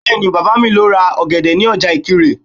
Bẹ́ẹ̀ni, Bàbá mi lọ ra ọ̀gẹ̀dẹ̀ ní ọjà Ìkirè